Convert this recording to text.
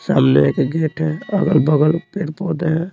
सामने एक गेट है अगल-बगल पेड़ पौधे हैं।